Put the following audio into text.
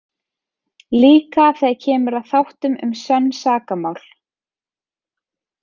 Líka þegar kemur að þáttum um sönn sakamál.